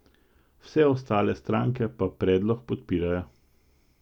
Vse ostale stranke pa predlog podpirajo.